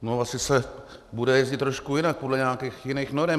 No, asi se bude jezdit trošku jinak podle nějakých jiných norem.